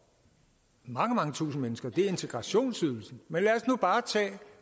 mange mange tusinde mennesker lidt integrationsydelsen men lad os nu bare tage